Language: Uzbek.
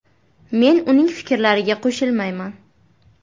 Men uning fikrlariga qo‘shilmayman.